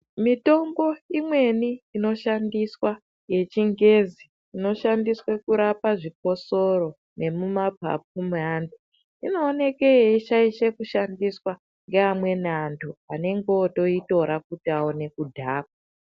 Mitombo imweni inoshandiswa, yechingezi, inoshandiswe kurapa zvikosoro nemumaphaphu meantu, inooneke yeishaishe kushandiswa ngeamweni antu anengeotoitora kuti aone kudhakwa.